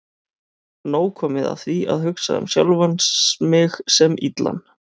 Nóg komið af því að hugsa um sjálfan mig sem illan.